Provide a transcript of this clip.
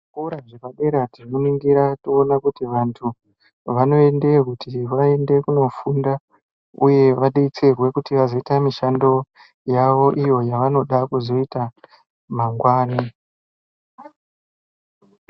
Zvikora zvepadera tinoningira toona kuti vantu vanoendeyo kuti vaende kunofunda uye vadetserwe kuti vazoite mishando yavo iyo yawanoda kuzoita mangwani .